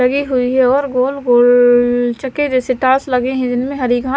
गोल गोल लवर गोल गोल चके जैसे टास लगे हैं इनमें हरी घा।